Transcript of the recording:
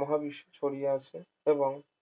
মহাবিশ্বে ছড়িয়ে আছে এবং